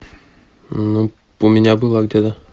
ну у меня была где то